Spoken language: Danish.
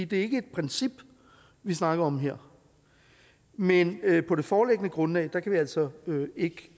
det er ikke et princip vi snakker om her men på det foreliggende grundlag kan vi altså ikke